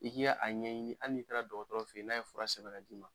I k'i ya a ɲɛɲini hali n'i taara dɔgɔtɔrɔ fe ye n'a ye fura sɛbɛn k'a d'i ma